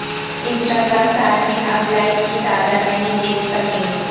Insta gram صارفین اب likes کی تعداد نہیں دیکھ سکیں گے